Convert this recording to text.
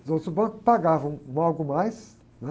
Os outros bancos pagavam um algo mais, né?